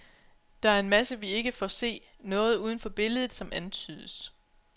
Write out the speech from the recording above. Der er en masse vi ikke får se, noget uden for billedet som antydes.